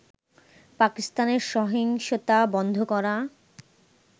পাকিস্তানে সহিংসতা বন্ধ করা